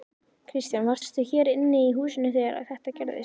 Kristján: Varstu hér inni í húsinu þegar þetta gerðist?